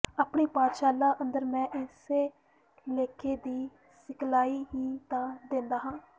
ਆਪਣੀ ਪਾਠਸ਼ਾਲਾ ਅੰਦਰ ਮੈਂ ਇਸੇ ਲੇਖੇ ਦੀ ਸਿਖਲਾਈ ਹੀ ਤਾਂ ਦਿੰਦਾ ਹਾਂ